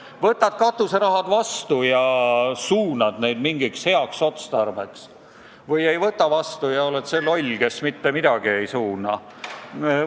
Kas võtad katuserahad vastu ja suunad need mingiks heaks otstarbeks või ei võta vastu ja oled see loll, kes mitte midagi ei otsusta?